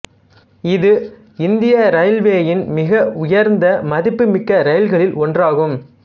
இது இந்திய இரயில்வேயின் மிக உயர்ந்த மதிப்புமிக்க ரயில்களில் ஒன்றாகும்